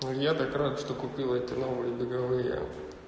ну я так рад что купила эти новые беговые